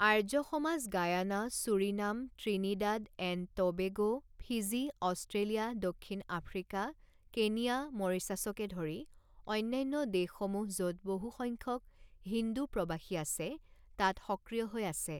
Arya Samaj Guyana, Suriname, Trinidad and Tobago, Fiji, Australia, দক্ষিণ Africa, Kenya, মৰিচাছকে ধৰি অন্যান্য দেশসমূহ য'ত বহুসংখ্যক হিন্দু প্ৰৱাসী আছে তাত সক্ৰিয় হৈ আছে।